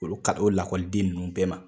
Olu ka o lakɔliden ninnu bɛɛ ma.